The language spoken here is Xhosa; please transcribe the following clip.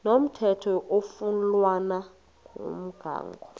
komthetho oflunwa ngumgago